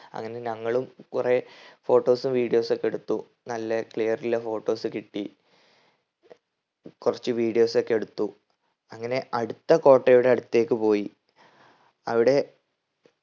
അങ്ങനെ ഞങ്ങളും കൊറേ photos ഉം videos ഒക്കെ എടുത്തു നല്ല clear ഉള്ള photos കിട്ടി കുറച്ച് videos ഒക്കെ എടുത്തു. അങ്ങനെ അടുത്ത കോട്ടയുടെ അടുത്തേക്ക് പോയി. അവിടെ